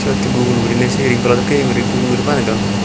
siyot hee gul gurine siyen goro dokken gurine gul gurine banedon.